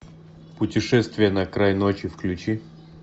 путешествие на край ночи включи